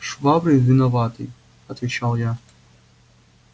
швабрин виноватый отвечал я